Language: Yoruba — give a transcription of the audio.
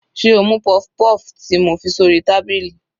Sé o mú puff-puff ti mo fi sórí tábìlì.